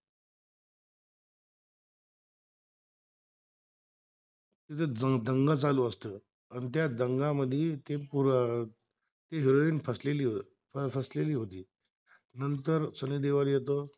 तिथ दंग चालू असतो, आणि त्या दगामध्ये ते पूर, हेरोइन फसली होती, फसलेली होती नंतर सनी देवल येतो